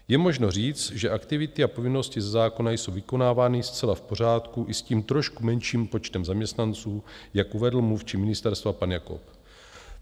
Je možno říct, že aktivity a povinnosti ze zákona jsou vykonávány zcela v pořádku i s tím trošku menším počtem zaměstnanců, jak uvedl mluvčí ministerstva pan Jakob.